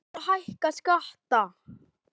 Ætlar Dagur að hækka skatta?